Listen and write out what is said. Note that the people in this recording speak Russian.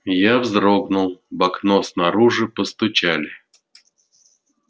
я вздрогнул в окно снаружи постучали